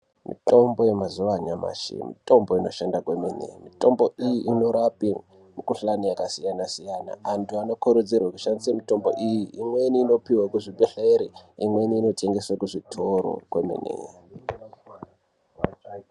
Mitombo yemazuwa anyamashi, mitombo inoshanda kwemene. Mitombo iyi inorape mikhuhlani yakasiyana-siyana. Antu anokurudzirwe kushandisa mitombo iyi. Imweni inopihwe kuzvibhehlere imweni inotengeswe kuzvitoro kwemene.